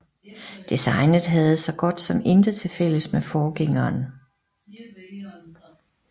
Designet havde så godt som intet til fælles med forgængeren